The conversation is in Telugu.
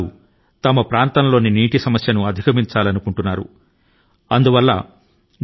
తన ప్రాంతం లో నీటి కొరత ను అధిగమించాలన్నది 85 ఏళ్ల కామెగౌడ లక్ష్యం